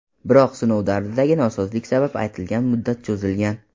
Biroq sinov davridagi nosozlik sabab aytilgan muddat cho‘zilgan.